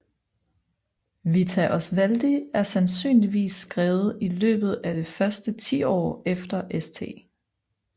Vita Oswaldi er sandsynligvis skrevet i løbet av det første tiår efter St